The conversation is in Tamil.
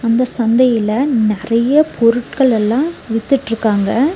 இந்த சந்தல நெறைய பொருட்கள் எல்லா வித்துட்டுருக்காங்க.